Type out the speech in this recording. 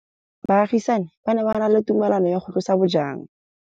Baagisani ba ne ba na le tumalanô ya go tlosa bojang.